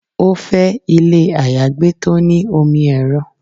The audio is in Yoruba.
Ó fẹ́ ilé àyágbé tó ní omi ẹ́rọ